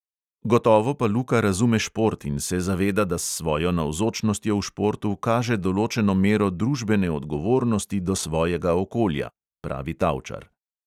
"Gotovo pa luka razume šport in se zaveda, da s svojo navzočnostjo v športu kaže določeno mero družbene odgovornosti do svojega okolja," pravi tavčar.